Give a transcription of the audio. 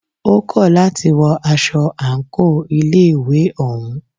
Ó kọ̀ láti wọ aṣọ àńkò ilé ìwé òún.